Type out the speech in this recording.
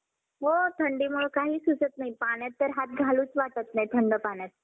हां~ विहरीत उडी हाणताना लय भारी role निघाला.